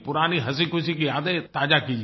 पुरानी हँसीखुशी की यादें ताज़ा कीजिए